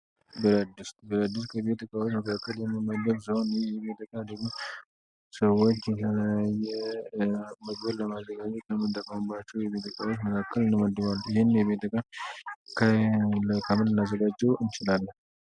ብረት ዲስት፡ ብረትዲስት ከቤት እቃዎች መካከል የሚመደብ ሲሆን ይህም እቃ ደግሞ ሰዎች የተለየ መግብን ለማዘጋት ይጠቀሙባቸዋል። ይህ የቤት እቃ መካከል ይመደባል። ይህን የቤት እቃ ከምን ልናዘጋጀው እንችላለን?